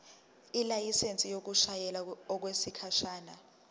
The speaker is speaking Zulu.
ilayisensi yokushayela okwesikhashana